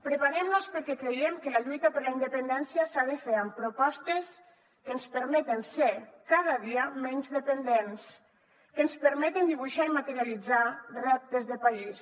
preparem nos perquè creiem que la lluita per la independència s’ha de fer amb propostes que ens permeten ser cada dia menys dependents que ens permeten dibuixar i materialitzar reptes de país